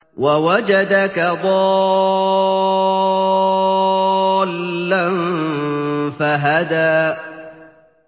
وَوَجَدَكَ ضَالًّا فَهَدَىٰ